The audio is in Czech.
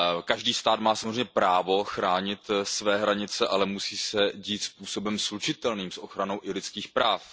Každý stát má samozřejmě právo chránit své hranice, ale musí se tak dít způsobem slučitelným s ochranou lidských práv.